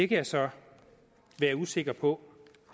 kan jeg så være usikker på